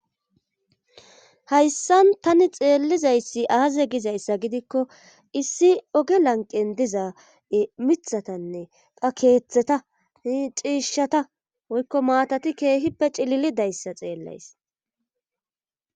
Hayssan tani xeellizayssi aaze gizayssa gidikko issi oge lanqen diza mithatanne qa keeththeta hi ciishshata woykko maatati keehippe cilili dayssa xeellays